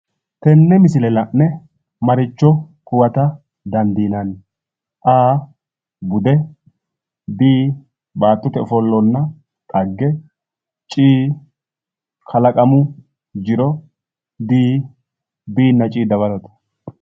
Tenne misile la'ne maricho huwata dandiinanni? a. bude b. baattote ofollonna xagge c. kalaqamu jiro d. b nna c dawarote.